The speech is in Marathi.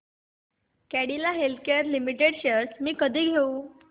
कॅडीला हेल्थकेयर लिमिटेड शेअर्स मी कधी घेऊ